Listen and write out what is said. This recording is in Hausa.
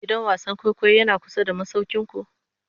gidan wasan kwaikwayo Yana kusa da masaukinku?